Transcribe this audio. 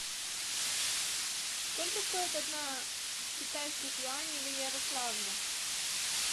сколько стоит одна китайских юаней в ярославле